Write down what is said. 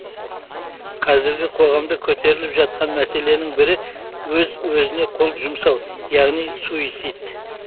қазіргі қоғамда көтеріліп жатқан мәселенің бірі өз өзіне қол жұмсау яғни суицид